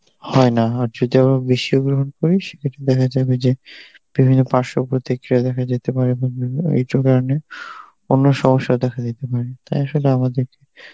হয় না আর যদি আবার বেশি গ্রহণ করি সেক্ষেত্রে দেখা যাবে যে বিভিন্ন পার্শ্ব প্রতিক্রিয়া দেখা যেতে পারে এইসব কারণে অন্য সমস্যাও দেখা দিতে পারে তাই শুধু আমাদের